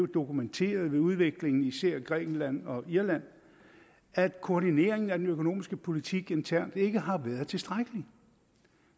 dokumenteret ved udviklingen især i grækenland og irland at koordineringen af den økonomiske politik internt ikke har været tilstrækkelig